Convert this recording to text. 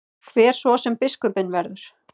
Hver svo sem biskupinn verður.